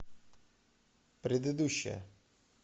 предыдущая